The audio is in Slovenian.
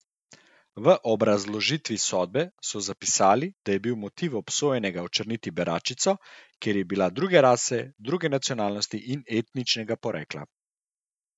V obrazložitvi sodbe so zapisali, da je bil motiv obsojenega očrniti beračico, ker je bila druge rase, druge nacionalnosti in etničnega porekla.